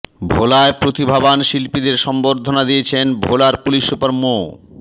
ভোলায় প্রতিভাবান শিল্পীদের সংবর্ধনা দিয়েছেন ভোলার পুলিশ সুপার মো